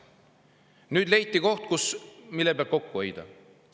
Nüüd leiti koht, mille pealt kokku hoida!